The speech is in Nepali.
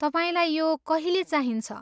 तपाईँलाई यो कहिले चाहिन्छ?